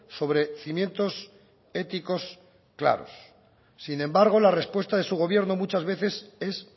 sobre cimientos éticos claros sin embargo la respuesta de su gobierno muchas veces es